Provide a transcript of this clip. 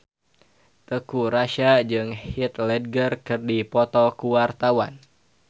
Teuku Rassya jeung Heath Ledger keur dipoto ku wartawan